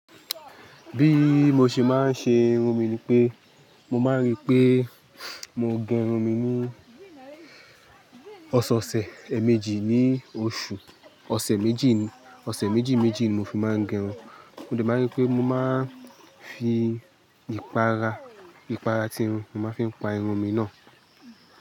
Bí mo ṣe máa ń ṣe irun mi ni pé, mo máa ń rí pé mo gẹrun mi ní ọ̀sẹ̀ ọ̀sẹ̀ èmejì ní oṣù. Ọ̀sẹ̀ méjì ní, ọ̀sẹ̀ méjì méjì ni mo fi máa ń gẹrun. Ó dà mí rí pé mo máa ń fi ìpára, ìpára tirun, mo máa ń fi pa irun mi náà.